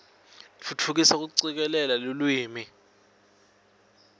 tfutfukisa kucikelela lulwimi